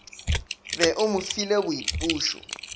be o mo file boipušo